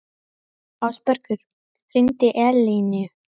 Ásbergur, hringdu í Eleinu.